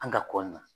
An ka kɔ na